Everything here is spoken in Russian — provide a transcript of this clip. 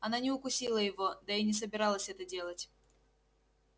она не укусила его да и не собиралась это делать